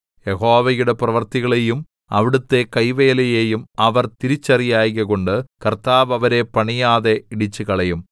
യഹോവയുടെ പ്രവൃത്തികളെയും അവിടുത്തെ കൈവേലയെയും അവർ തിരിച്ചറിയായ്കകൊണ്ട് കർത്താവ് അവരെ പണിയാതെ ഇടിച്ചുകളയും